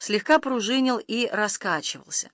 слегка пружинил и раскачивался